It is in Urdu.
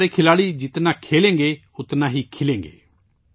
ہمارے کھلاڑی جتنے زیادہ کھیلیں گے ، اتنا ہی نکھریں گے